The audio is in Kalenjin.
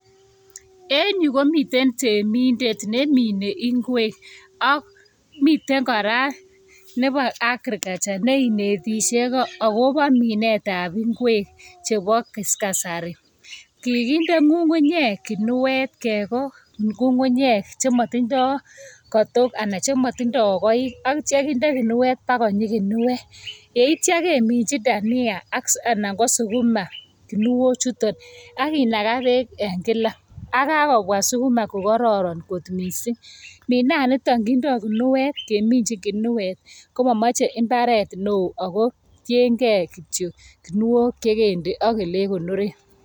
En yuh komiten temindet nemine ingwek. Miten kora nebo agriculture ,neinetishe akobo minetab ingwek chebo kasarii. Kikinde ngungunyek ginuet, kegoo ngungunyek chemotindo katook anan chemotindo goik. Atyo kinde ginuet bakonyii ginuet, yeityoo kemenyii dhania anan ko sukuma ginuochuton. Ak kinagaa been en kila, ak kakobwa sukuma ko kororon kot missing. Minaanitokkindo ginuet, keminyin ginuet, komomoche imbaret newo ako tiengei kityok ginuok che kende ak olekonoreen.